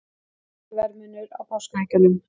Lítill verðmunur á páskaeggjunum